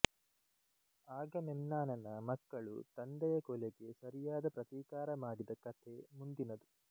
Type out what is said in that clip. ಆಗಮೆಮ್ನಾನನ ಮಕ್ಕಳು ತಂದೆಯ ಕೊಲೆಗೆ ಸರಿಯಾದ ಪ್ರತೀಕಾರ ಮಾಡಿದ ಕಥೆ ಮುಂದಿನದು